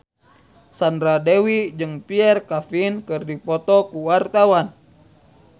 Sandra Dewi jeung Pierre Coffin keur dipoto ku wartawan